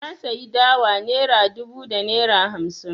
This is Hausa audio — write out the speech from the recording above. Na sayi dawa naira dubu da naira hamsi.